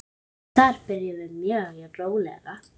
Þar byrjum við mjög rólega.